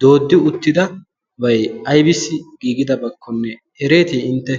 dooddi uttidabai aibisi giigidabaakkonne ereetii intte?